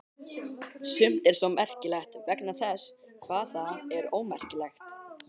Sumt er svo merkilegt vegna þess hvað það er ómerkilegt.